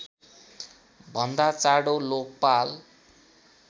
भन्दा चाँडो लोकपाल